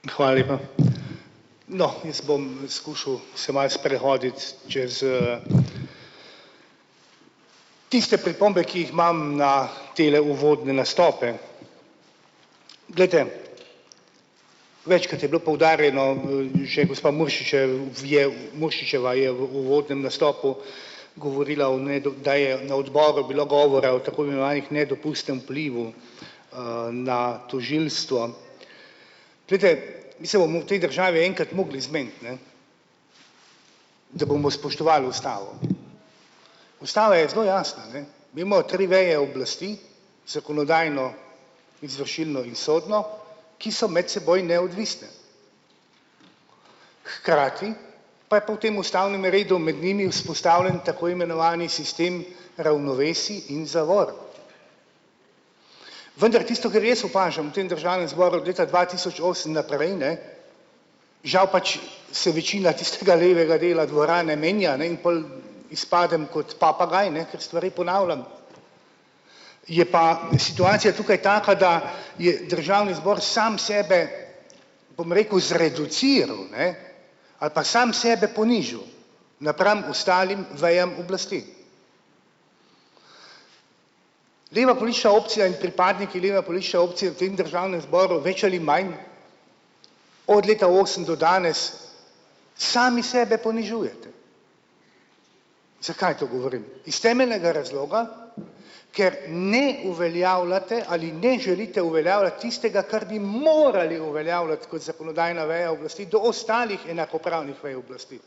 Hvala lepa. No, jaz bom skušal se malo sprehoditi čez, tiste pripombe, ki jih imam na tele uvodne nastope. Glejte, večkrat je bilo poudarjeno, že gospa Muršič je Muršičeva je v uvodnem nastopu govorila o, ne, do kdaj je na odboru bilo govora o tako imenovanem nedopustnem vplivu, na tožilstvo. Glejte, mi se bomo v tej državi enkrat mogli zmeniti, ne, da bomo spoštovali ustavo. Ustava je zelo jasna, ne, imamo tri veje oblasti, zakonodajno, izvršilno in sodno, ki so med seboj neodvisne. Hkrati pa je po tem ustavnem redu med njimi vzpostavljen tako imenovani sistem ravnovesij in zavor. Vendar tisto, kar jaz opažam v tem državnem zboru od leta dva tisoč osem naprej, ne, žal pač se večina tistega levega dela dvorane menja, ne, in pol izpadem kot papagaj, ne, ker stvari ponavljam. Je pa situacija tukaj taka, da je državni zbor sam sebe, bom rekel, zreduciral, ne, ali pa sam sebe ponižal napram ostalim vejam oblasti. Leva politična opcija in pripadniki leve politične opcije v tem državnem zboru več ali manj od leta osem do danes sami sebe ponižujete. Zakaj to govorim? Iz temeljnega razloga, ker ne uveljavljate ali ne želite uveljavljati tistega, kar morali uveljavljati kot zakonodajna veja oblasti do ostalih enakopravnih vej oblasti.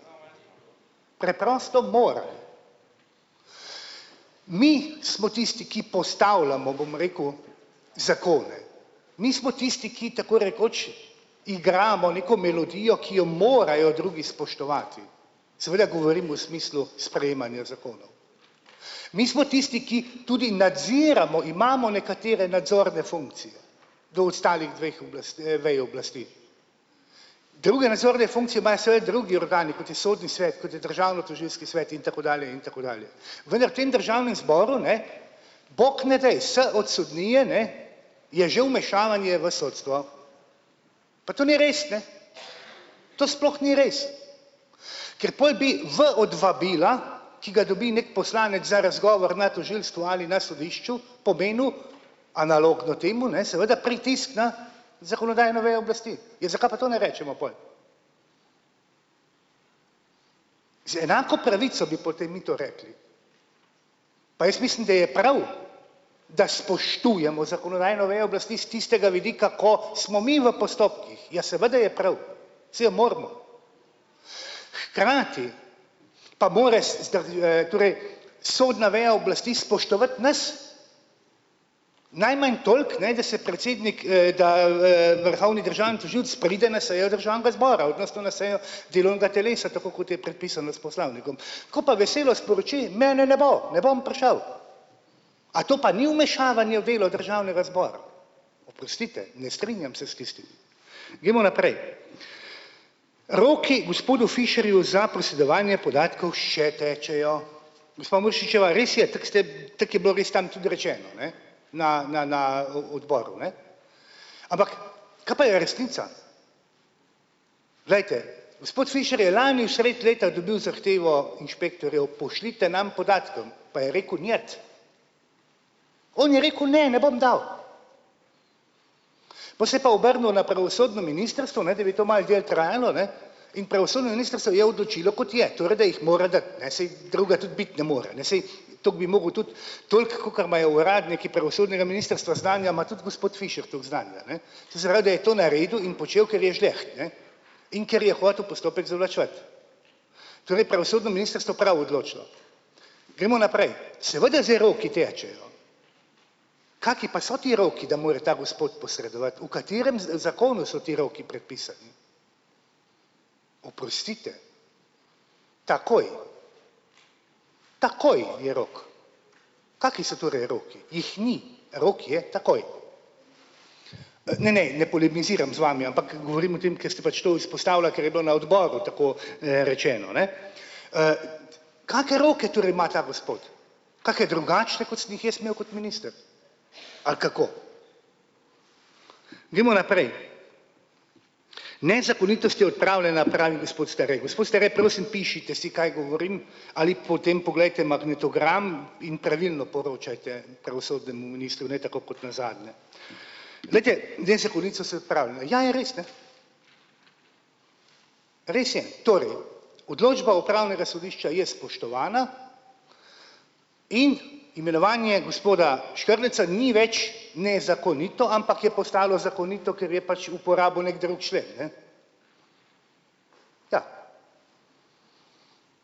Preprosto morajo. Mi smo tisti, ki postavljamo, bom rekel, zakone. Nismo tisti, ki tako rekoč igramo neko melodijo, ki jo morajo drugi spoštovati. Seveda govorim o smislu sprejemanja zakonov. Mi smo tisti, ki tudi nadziramo, imamo nekatere nadzorne funkcije do ostalih dveh oblasti, vej oblasti. Druge nadzorne funkcije imajo seveda drugi organi, kot je sodni svet, kot je državnotožilski svet, in tako dalje in tako dalje. Vendar tem državnem zboru, ne, bog ne daj, s od sodnije, ne, je že vmešavanje v sodstvo. Pa to ni res, ne. To sploh ni res. Ker pol bi v od vabila, ki ga dobi neki poslanec za razgovor na tožilstvu ali na sodišču, pomenil analogno temo, ne, seveda pritisk na zakonodajno vejo oblasti. Ja, zakaj pa to ne rečemo pol? Z enako pravico bi potem mi to rekli. Pa jaz mislim, da je prav, da spoštujemo zakonodajno vejo oblasti s tistega vidika, ko smo mi v postopkih, ja seveda je prav, saj jo moramo. Hkrati pa mora torej sodna veja oblasti spoštovati nas najmanj toliko, ne, da se predsednik, da, vrhovni državni tožilec pride na sejo državnega zbora delovnega telesa, tako kot je predpisano s poslovnikom. Ko pa veselo sporoči, mene ne bo, ne bom prišel. A to pa ni vmešavanje v delo državnega zbora? Oprostite ne strinjam se s tistimi. Gremo naprej. Roki gospodu Fišerju za posredovanje podatkov še tečejo. Gospa Muršičeva, res je, tako ste, tako je bilo res tam tudi rečeno, ne, na na na, odboru, ne. Ampak kaj pa je resnica? Glejte, gospod Fišer je lani sredi leta dobil zahtevo inšpektorjev pošljite nam podatkom pa je rekel "niet". On je rekel: "Ne, ne bom dal." Po se je pa obrnil na pravosodno ministrstvo, ne, da bi to malo dalj trajalo, ne, in pravosodno ministrstvo je odločilo, kot je, torej, da jih mora dati, ne, saj drugega tudi biti ne more, ne, saj toliko bi mogel tudi, toliko, kolikor imajo uradniki pravosodnega ministrstva znanja, ima tudi gospod Fišer toliko znanja, ne. To se pravi, da je to naredil in počel, ker je žleht, ne, in ker je hotel postopek zavlačevati. Torej pravosodno ministrstvo prav odločilo. Gremo naprej. Seveda zdaj roki tečejo. Kakšni pa so ti roki, da mora ta gospod posredovati, v katerem zakonu so ti roki predpisani? Oprostite, takoj, takoj je rok. Kakšni so torej roki? Jih ni. Rok je takoj. Ne, ne, ne polemiziram z vami, ampak govorim o tem, ker ste pač to izpostavila, ker je bilo na odboru tako, rečeno, ne. Kake roke torej ima ta gospod? Kake drugačne, kot sem jih jaz imel kot minister? Ali kako? Gremo naprej. "Nezakonitost je odpravljena," pravi gospod Stare, gospod Stare, prosim pišite si, kaj govorim, ali potem poglejte magnetogram in pravilno poročajte pravosodnemu ministru, ne tako kot nazadnje. Glejte, nezakonitost se odpravljena, ja, je res, ne. Res je, torej odločba upravnega sodišča je spoštovana in imenovanje gospoda Škrleca ni več nezakonito, ampak je pa ostalo zakonito, ker je pač uporabil neki drug člen, ne. Ja.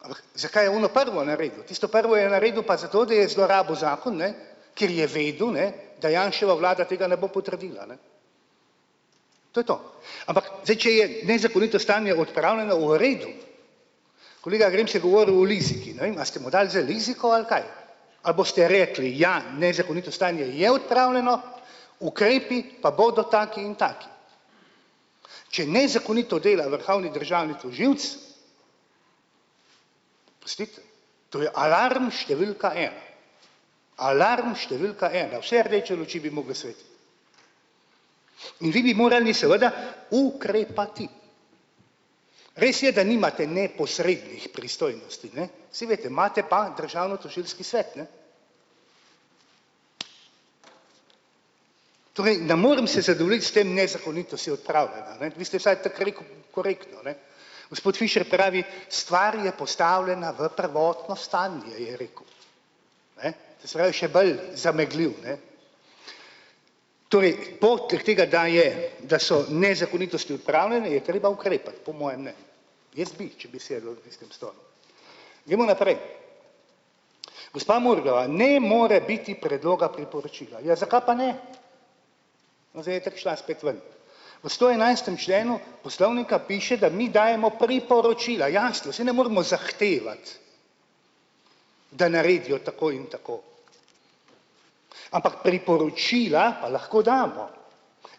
A lahko, zakaj je ono prvo naredil, tisto prvo je naredil pa zato, da je zlorabil zakon, ne, ker je vedel, ne, da Janševa vlada tega ne bo potrdila, ne. To je to, ampak zdaj če je nezakonito stanje odpravljeno, v redu. Kolega Grims je govoril o liziki, ne vem, a ste mu dali zdaj liziko ali kaj, ali boste rekli: "Ja, nezakonito stanje je odpravljeno, ukrepi pa bodo taki in taki." Če nezakonito delajo, vrhovni državni tožilec, postite torej alarm številka ena. Alarm številka ena, vse rdeče luči bi mogle svetiti. In vi bi morali seveda ukrepati. Res je, da nimate neposrednih pristojnosti, ne, saj veste, imate pa državnotožilski svet, ne. Torej, ne morem se zadovoljiti s tem; nezakonitost je odpravljena, ne, vi ste vsaj tako rekel, korektno, ne. Gospod Fišer pravi: "Stvar je postavljena v prvotno stanje," je rekel. Ne, to se pravi še bolj zameglil, ne. Torej po tleh tega, da je da so nezakonitosti odpravljene, je treba ukrepati po mojem mnenju. Jaz bi, če bi sedel na tistem stolu. Gremo naprej. Gospa Murglova, ne more biti predloga priporočila. Ja, zakaj pa ne? Zdaj je itak šla spet ven. V stoenajstem členu poslovnika piše, da mi dajemo priporočila, jasno, saj ne moremo zahtevati, da naredijo tako in tako. Ampak priporočila pa lahko damo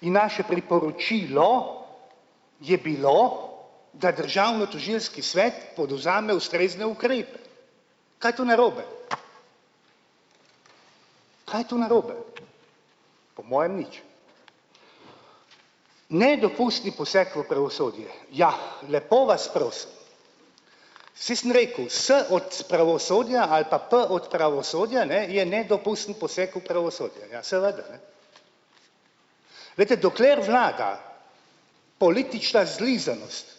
in naše priporočilo je bilo da državnotožilski svet podvzame ustrezne ukrepe. Kaj je to narobe? Kaj je to narobe? Po mojem nič. Nedopustni poseg v pravosodje. Ja lepo vas prosim. Saj sem rekel, s od pravosodja ali pa p od pravosodja, ne, je nedopusten poseg v pravosodje, ja seveda. Glejte, dokler vlada politična zlizanost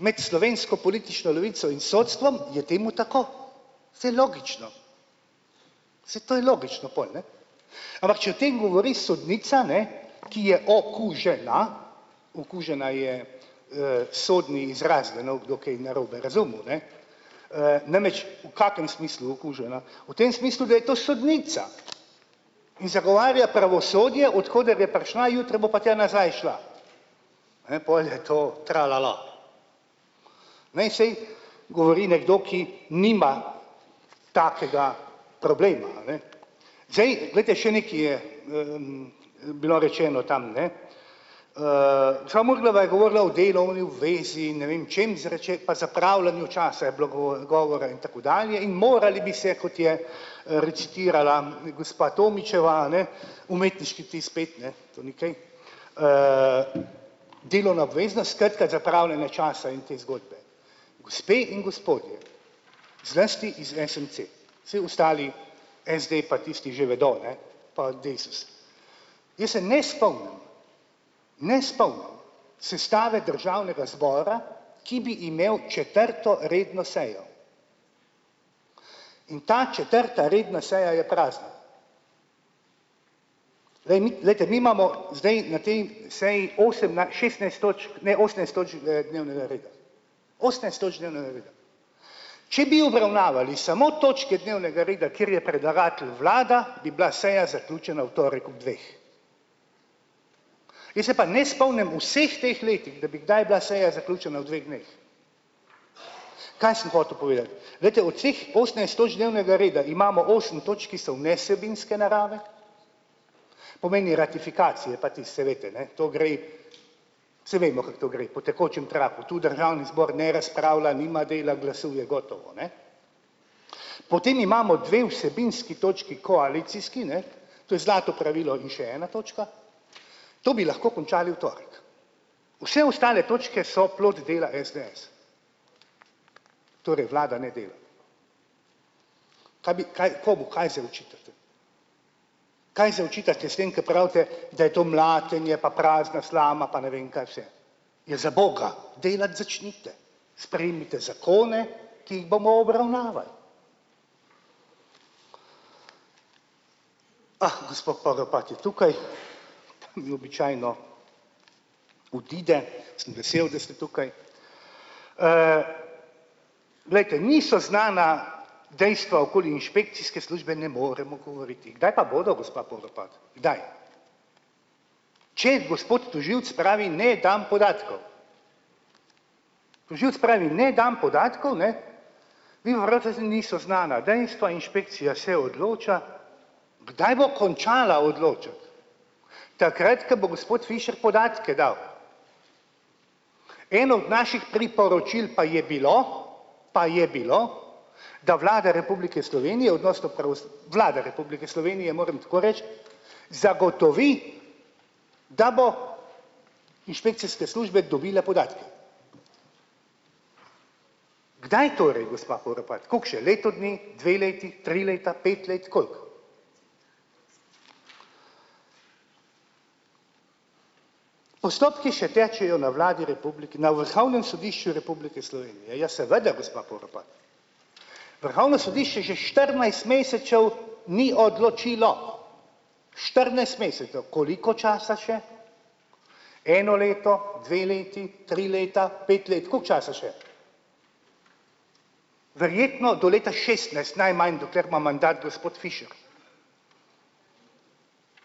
med slovensko politično levico in sodstvom, je temu tako. Saj je logično. Saj to je logično pol, ne. Ampak če o tem govori sodnica, ne, ki je o kot že na, okužena je, sodni izraz, da ne bo kdo kaj narobe razumel, ne, namreč v kakšnem smislu okužena? V tem smislu, da je to sodnica in zagovarja pravosodje, od koder je prišla, jutri bo pa tja nazaj šla. Ne, pol je to tralala. Ne, saj govori nekdo, ki nima takega problema, a ne. Zdaj, glejte, še nekaj je, bilo rečeno tam, ne. Gospa Murnova je govorila o delovni zvezi in ne vem čem pa zapravljanju časa je bilo govora in tako dalje in morali bi se, kot je, recitirala gospa Tomićeva, a ne, umetniški vtis pet, ne, to ni kaj. Delovna obveznost, skratka, zapravljanje časa in te zgodbe. Gospe in gospodje, zlasti iz SMC, vsi ostali SD pa tisti že vedo, ne, pa Desus. Jaz se ne spomnim, ne spomnim sestave državnega zbora, ki bi imel četrto redno sejo, in ta četrta redna seja je prazna. Glej, mi, glejte, mi imamo zdaj na tej seji, osem šestnajst točk, ne, osemnajst točk, dnevnega reda. Osemnajst točk dnevnega reda. Če bi obravnavali samo točke dnevnega reda, ker je predlagatelj vlada, bi bila seja zaključena v torek ob dveh. Jaz se pa ne spomnim v vseh teh letih, da bi kdaj bila seja zaključena v dveh dneh. Kaj sem hotel povedati? Glejte, od vseh osemnajst točk dnevnega reda imamo osem točk, ki so v nevsebinske narave, pomeni ratifikacije pa tisto, saj veste, ne, to grem, saj vemo, kako to gre po tekočem traku tu, državni zbor ne razpravlja, nima dela, glasuje gotovo ne. Potem imamo dve vsebinski točki koalicijski, ne, to je zlato pravilo in še ena točka, to bi lahko končali v torek. Vse ostale točke so plod dela SDS. Torej vlada ne dela. Kaj bi kaj, komu kaj zdaj očitate? Kaj zdaj očitate s tem, ko pravite, da je to mlatenje pa prazna slama pa ne vem kaj vse. Ja zaboga, delati začnite, sprejmite zakone, ki jih bomo obravnavali. Ah, gospod je tukaj, ni, običajno odide, sem vesel, da ste tukaj. Glejte, niso znana dejstva, okoli inšpekcijske službe, ne moremo govoriti, kdaj pa bodo, gospa, kdaj? Če gospod tožilec pravi: "Ne dam podatkov." Tožilec pravi: "Ne dam podatkov, ne, saj niso znana dejstva, inšpekcija se odloča, kdaj bo končala odločati." Takrat ko bo gospod Fišer podatke dal. Eno od naših priporočil pa je bilo, pa je bilo, da Vlada Republike Slovenije odnos, Vlada Republike Slovenije, moram tako reči, zagotovi da bodo inšpekcijske službe dobile podatke. Kdaj torej, gospa Poropat, koliko še, leto dni, dve leti, tri leta, pet let, koliko? Postopki še tečejo na Vladi Republike, na Vrhovnem sodišču Republike Slovenije, ja seveda, gospa Poropat. Vrhovno sodišče že štirinajst mesecev ni odločilo štirinajst mesecev, koliko časa še? Eno leto, dve leti, tri leta, pet let, koliko časa še? Verjetno do leta šestnajst, najmanj dokler ima mandat gospod Fišer.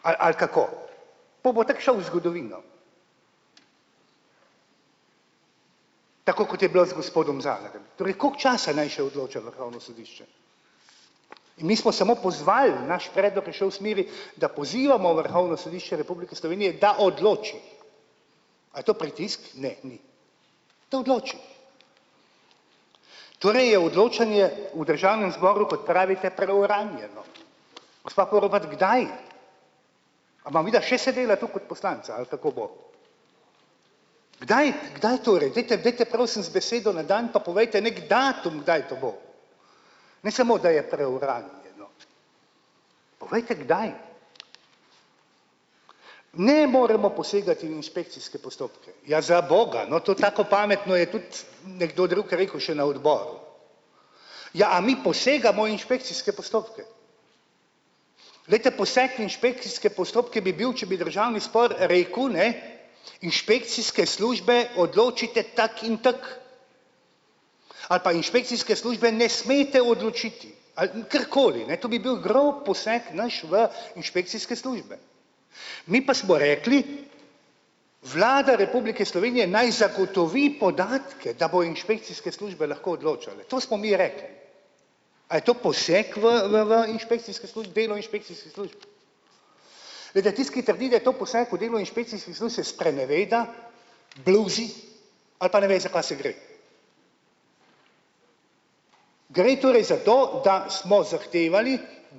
Ali ali kako? Pol bo tako šel v zgodovino. Tako kot je bilo z gospodom Zalarjem, torej koliko časa naj še odloča vrhovno sodišče? In mi smo samo pozvali, naš predlog je šel v smeri, da pozivamo Vrhovno sodišče Republike Slovenije, da odloči, a je to pritisk. Ne, ni. Da odloči. Torej je odločanje v državnem zboru, kot pravite, preuranjeno. Gospa Porobat, kdaj? A bova midva še sedela tu kot poslanca ali kako bo? Kdaj, kdaj torej, dajte, dajte, prosim z besedo na dan, pa povejte neki datum, kdaj to bo. Ne samo, da je preuranjeno. Povejte, kdaj. Ne moremo posegati v inšpekcijske postopke. Ja, zaboga, no, to tako pametno je tudi nekdo drug rekel še na odboru. Ja, a mi posegamo inšpekcijske postopke? Glejte, poseg inšpekcijske postopke bi bil, če bi državni zbor rekel, ne: "Inšpekcijske službe, odločite tako in tako." Ali pa inšpekcijske službe ne smete odločiti ali karkoli, ne, to bi bil grob poseg naš v inšpekcijske službe. Mi pa smo rekli: "Vlada Republike Slovenije naj zagotovi podatke, da bodo inšpekcijske službe lahko odločale." To smo mi rekli. A je to poseg v v v inšpekcijske službe, delo inšpekcijskih služb? Glejte, tisti, ki trdi, da je to poseg v delo inšpekcijskih služb, se spreneveda, bluzi, ali pa ne ve, za kaj se gre. Gre torej za to, da smo zahtevali,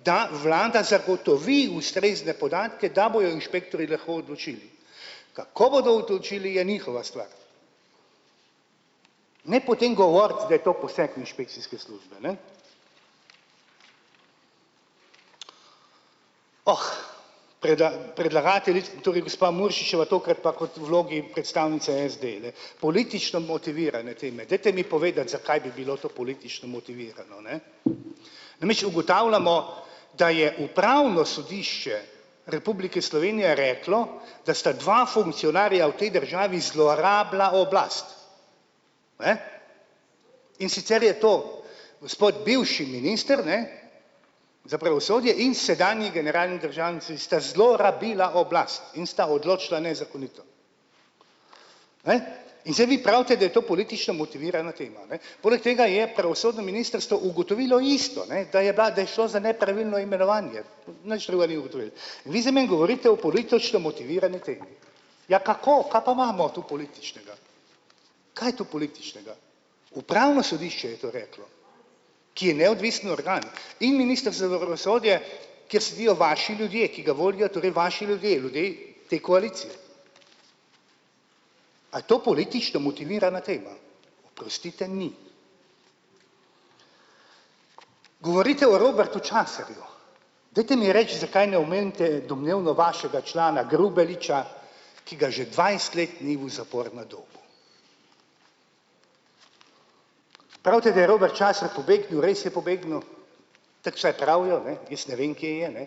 da vlada zagotovi ustrezne podatke, da bojo inšpektorji lahko odločili, kako bodo odločili, je njihova stvar. Ne potem govoriti, da je to poseg v inšpekcijske službe, ne. Oh. predlagatelji, torej gospa Muršičeva, to, kar pa kot vlogi predstavnice SD le politično motivirane teme, dajte mi povedati, zakaj bi bilo to politično motivirano, ne. Namreč ugotavljamo, da je Upravno sodišče Republike Slovenije reklo, da sta dva funkcionarja v tej državi zlorabila oblast. Ne. In sicer je to gospod bivši minister, ne, za pravosodje in sedanji generalni državnici sta zelo rabila oblast in sta odločila nezakonito. Ne. In zdaj vi pravite, da je to politično motivirana tema, ne, poleg tega je pravosodno ministrstvo ugotovilo isto, ne, da je bila, da je šlo nepravilno imenovanje, nič drugega ni ugotovilo. In vi zdaj meni govorite o politično motivirani temi. Ja kako, kaj pa imamo tu političnega? Kaj je tu političnega? Upravno sodišče je to reklo, ki je neodvisni organ, in minister za pravosodje kjer sedijo vaši ljudje, ki ga volijo torej vaši ljudje ljudje te koalicije. A je to politično motivirana tema? Oprostite, ni. Govorite o Robertu Časarju. Dajte mi reči, zakaj ne omenite domnevno vašega člana Grubelića, ki ga že dvajset let ni v zaporu na Dobu. Pravite, da je Robert Časar pobegnil, res je pobegnil, tako vsaj pravijo, ne, jaz ne vem, kje je, ne.